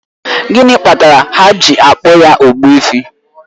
Gịnị kpatara ha ji akpọ ya Ogbuefi?